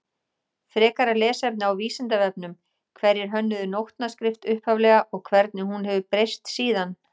Frekara lesefni á Vísindavefnum Hverjir hönnuðu nótnaskrift upphaflega og hvernig hefur hún breyst síðan?